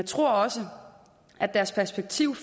tror også at deres perspektiv